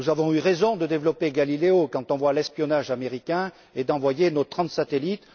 Nous avons eu raison de développer Galileo quand on voit l'espionnage américain et d'envoyer nos trente satellites.